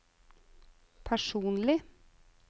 personlig